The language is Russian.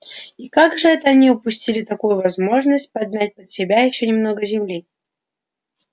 и как же это они упустили такую возможность подмять под себя ещё немного земли